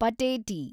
ಪಟೇಟಿ